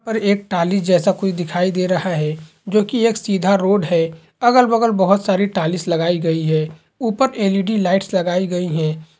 और एक टाली जैसा कुछ दिखाई दे रहा है जो कि एक सीधा रोड है अगल बगल बहोत सारी टाइल्स लगाई गई है ऊपर एलईडी लाइट लगाई गई है।